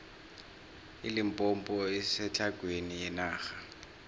ilimpompo isetlhagwini yenarha